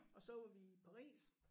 Og så var vi i Paris